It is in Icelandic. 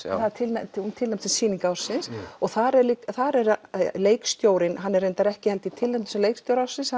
já hún er tilnefnd tilnefnd sem sýning ársins já og þar er þar er leikstjórinn reyndar ekki tilnefndur sem leikstjóri ársins